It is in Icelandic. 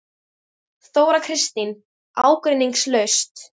Þóra Kristín: Ágreiningslaust?